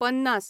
पन्नास